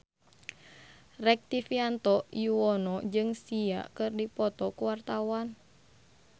Rektivianto Yoewono jeung Sia keur dipoto ku wartawan